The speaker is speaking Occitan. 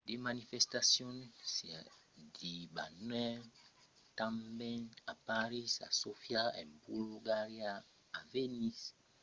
de manifestacions se debanèron tanben a parís a sofia en bulgaria a vilnius en lituània a valeta a malta a tallinn en estònia a edimborg e glasgow en escòcia